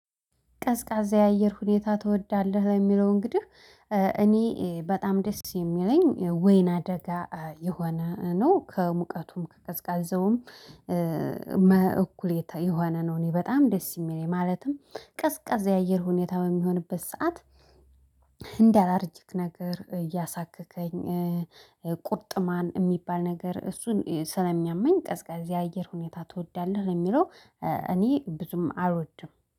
ቀዝቃዛ የአየር ሁኔታ ትወዳለህ? ለሚለው እንግዲህ እ እኔ በጣም ደስ የሚለኝ ወይን አደጋ የሆነ ነው ከሙቀቱም ከቀዝቃዛውም እ መ እኩሌታ የሆነ ነው እኔ በጣም ደስ የሚለኝ ማለትም ቀዝቃዛ የአየር ሁኔታ በሚሆንበት ሰዓት እንደ አላርጂክ ነገር እያሳከከኝ ቁርጥማን የሚባል ነገር እሱን ስለሚያመኝ ቀዝቃዛ የአየር ሁኔታ ትወዳለህ የሚለው እኔ ብዙም አልወድም